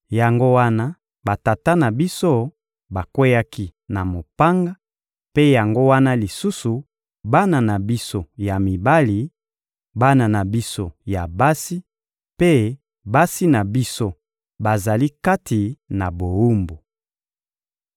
Yango wana batata na biso bakweyaki na mopanga; mpe yango wana lisusu bana na biso ya mibali, bana na biso ya basi mpe basi na biso bazali kati na bowumbu.